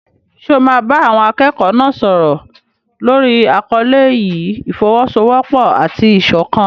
Ṣé o máa bá àwọn akẹ́kọ̀ọ́ náà sọ̀rọ̀ lórí àkọlé yìí "ìfọ́wọ́sọwọ́pọ̀ àti ìṣọ̀kan"?